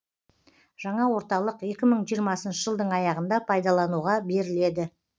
жаңа орталық екі мың жиырмасыншы жылдың аяғында пайдалануға беріледі